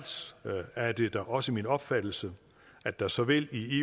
er det da også min opfattelse at der såvel i